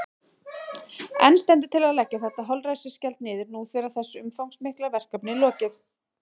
En stendur til að leggja þetta holræsagjald niður nú þegar þessu umfangsmikla verkefni er lokið?